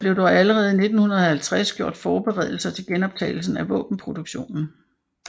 Der blev dog allerede i 1950 gjort forberedelser til genoptagelsen af våbenproduktionen